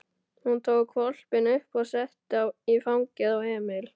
Hún tók hvolpinn upp og setti í fangið á Emil.